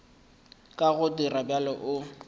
ka go dira bjalo o